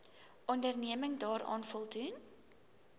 onderneming daaraan voldoen